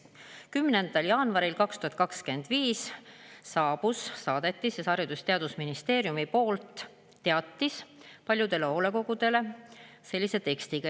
10. jaanuaril 2025 saadeti Haridus- ja Teadusministeeriumi poolt paljudele hoolekogudele teatis sellise tekstiga.